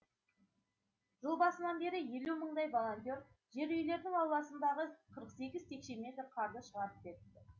жыл басынан бері елу мыңдай волонтер жер үйлердің ауласындағы қырық сегіз текше метр қарды шығарып беріпті